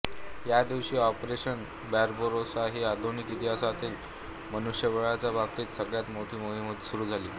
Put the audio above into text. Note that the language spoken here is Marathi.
या दिवशी ऑपरेशन बार्बारोसा ही आधुनिक इतिहासातील मनुष्यबळाच्या बाबतीत सगळ्यात मोठी मोहीम सुरू झाली